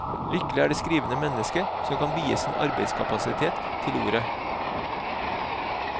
Lykkelig er det skrivende menneske som kan vie sin arbeidskapasitet til ordet.